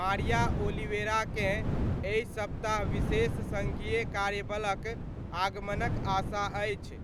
मारिया ओलिवेराकेँ एहि सप्ताह विशेष सङ्घीय कार्यबलक आगमनक आशा अछि।